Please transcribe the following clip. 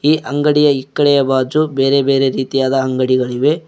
ಈ ಅಂಗಡಿಯ ಇಕ್ಕಳೆಯ ಬಾಜು ಬೇರೆ ಬೇರೆ ರೀತಿಯಾದ ಅಂಗಡಿಗಳಿವೆ.